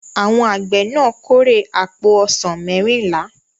Àwọn àgbẹ̀ náà kórè àpò ọsàn mẹ́rìnlá.